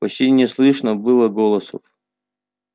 почти не слышно было голосов